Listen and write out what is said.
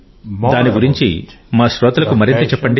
దాని గురించి మా శ్రోతలకు మరింత చెప్పండి